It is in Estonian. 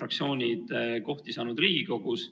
fraktsioonid saanud kohti Riigikogus.